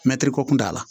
Mɛtiri ko kun t'a la